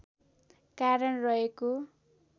कारण रहेको